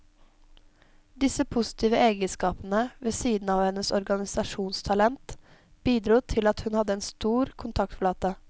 Disse positive egenskapene, ved siden av hennes organisasjonstalent, bidro til at hun hadde en stor kontaktflate.